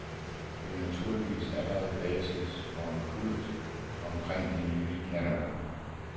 Der er tydeligvis allerede basis for en kult omkring de nye knallerter.